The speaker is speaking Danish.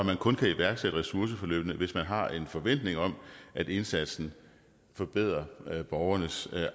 der kun kan iværksættes ressourceforløb hvis man har en forventning om at indsatsen forbedrer borgernes